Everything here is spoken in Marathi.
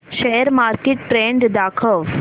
शेअर मार्केट ट्रेण्ड दाखव